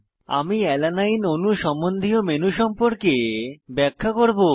আমি অ্যালানিন অণু সম্বন্ধীয় মেনু সম্পর্কে ব্যাখ্যা করব